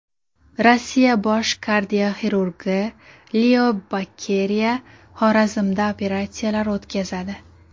Rossiya bosh kardioxirurgi Leo Bokeriya Xorazmda operatsiyalar o‘tkazadi.